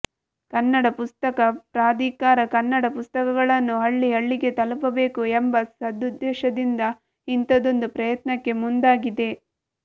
ಕನ್ನಡ ಪುಸ್ತಕ ಪ್ರಾಧಿಕಾರ ಕನ್ನಡ ಪುಸ್ತಕಗಳನ್ನು ಹಳ್ಳಿ ಹಳ್ಳಿಗೆ ತಲುಪಬೇಕು ಎಂಬ ಸದುದ್ದೇಶದಿಂದ ಇಂಥದೊಂದು ಪ್ರಯತ್ನಕ್ಕೆ ಮುಂದಾಗಿದೆ